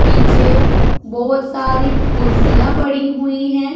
पीछे बहोत सारी कुर्सियां पड़ी हुई है।